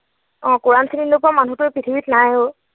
অ কোৰাণ চিনি নোপোৱা মানুহ তো পৃথিৱীত নাই আৰু।